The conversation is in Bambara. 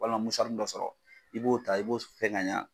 Walima dɔ sɔrɔ i b'o ta i b'o fɛn ka ɲɛ.